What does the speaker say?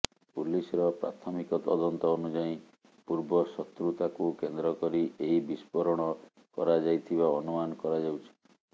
ପୁଲିସର ପ୍ରାଥମିକ ତଦନ୍ତ ଅନୁଯାୟୀ ପୂର୍ବ ଶତ୍ରୁତାକୁ କେନ୍ଦ୍ର କରି ଏହି ବିସ୍ଫୋରଣ କରାଯାଇଥିବା ଅନୁମାନ କରାଯାଉଛି